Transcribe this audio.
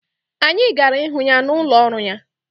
Anyị gara ịhụ ya n'ụlọ ọrụ ya.